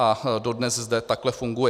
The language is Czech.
A dodnes zde takhle funguje.